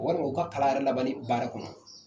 Walima u ka kala yɛrɛ labali baara kɔnɔ.